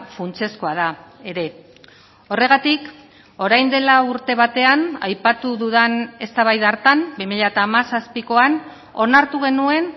funtsezkoa da ere horregatik orain dela urte batean aipatu dudan eztabaida hartan bi mila hamazazpikoan onartu genuen